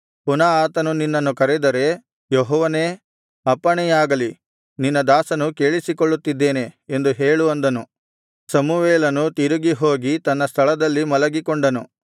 ಪುನಃ ಆತನು ನಿನ್ನನ್ನು ಕರೆದರೆ ಯೆಹೋವನೇ ಅಪ್ಪಣೆಯಾಗಲಿ ನಿನ್ನ ದಾಸನು ಕೇಳಿಸಿಕೊಳ್ಳುತ್ತಿದ್ದಾನೆ ಎಂದು ಹೇಳು ಅಂದನು ಸಮುವೇಲನು ತಿರುಗಿ ಹೋಗಿ ತನ್ನ ಸ್ಥಳದಲ್ಲಿ ಮಲಗಿಕೊಂಡನು